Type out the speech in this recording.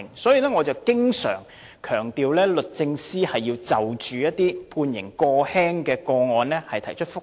因此，我經常強調，律政司應就着判刑過輕的個案提出覆核。